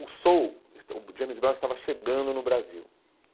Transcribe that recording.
O soul, esta o James Brown estava chegando no Brasil.